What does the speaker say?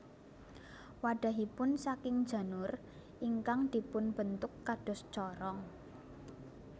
Wadhahipun saking janur ingkang dipun bentuk kados corong